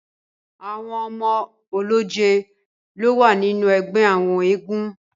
Àwọn ọmọ ọlọ́jẹ̀ lo wà nínú ẹgbẹ àwọn eégún.